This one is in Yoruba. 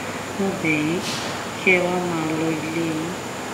mo bẹ̀ yín kẹ́ ẹ wàá máa lo ilé yín